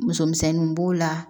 Musomisɛnnu b'o la